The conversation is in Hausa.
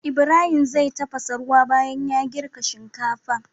Ibahim zai tafasa ruwa banyan ya girka shinkafa